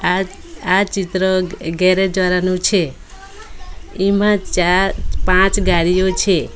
આ આ ચિત્ર એક ગેરેજ વાળા નું છે એમાં ચાર પાંચ ગાડીઓ છે.